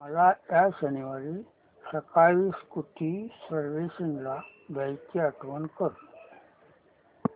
मला या शनिवारी सकाळी स्कूटी सर्व्हिसिंगला द्यायची आठवण कर